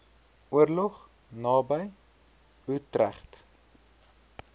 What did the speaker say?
oorlog naby utrecht